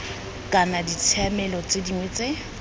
kana ditshiamelo tse dingwe tse